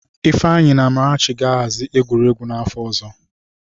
Ifeanyi na Amarachi ga-ahazi egwuregwu n'afọ ọzọ.